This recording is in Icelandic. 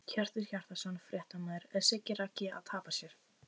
Hjörtur Hjartarson, fréttamaður: Er Siggi Raggi að tapa sér?!